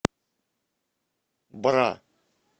бра